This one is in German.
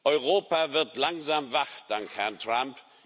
Europa wird langsam wach dank Herrn Trump.